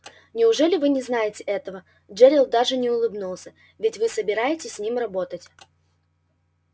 неужели вы не знаете этого джерилл даже не улыбнулся ведь вы собираетесь с ним работать